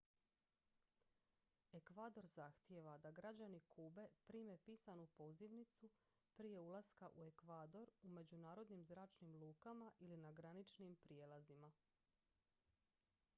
ekvador zahtijeva da građani kube prime pisanu pozivnicu prije ulaska u ekvador u međunarodnim zračnim lukama ili na graničnim prijelazima